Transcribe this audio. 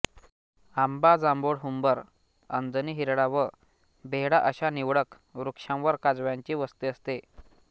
आंबा जांभूळहुंबर अंजनी हिरडा व बेहडा अशा निवडक वृक्षांवर काजव्यांची वस्ती असते